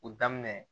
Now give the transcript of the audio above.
O daminɛ